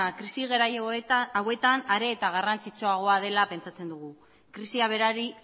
krisi garai hauetan are eta garrantzitsuagoa dela pentsatzen dugu krisia berari